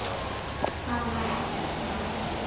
Það var ekkert mál.